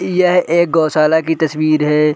ई यह एक गौशाला की तस्वीर है।